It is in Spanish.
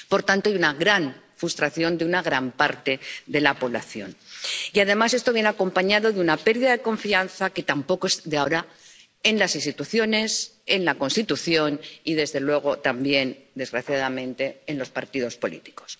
Por tanto, hay una gran frustración de una gran parte de la población y, además, esto viene acompañado de una pérdida de confianza, que tampoco es de ahora, en las instituciones, en la Constitución y, desde luego, también, desgraciadamente, en los partidos políticos.